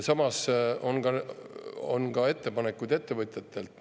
Samas on ka ettepanekuid ettevõtjatelt.